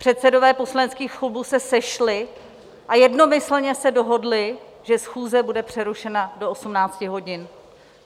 Předsedové poslaneckých klubů se sešli a jednomyslně se dohodli, že schůze bude přerušena do 18 hodin.